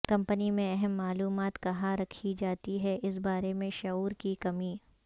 company میں اہم معلومات کہاں رکھی جاتی ہے اس بارے میں شعور کی کمی